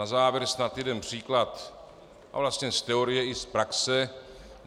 Na závěr snad jeden příklad, a vlastně z teorie i z praxe.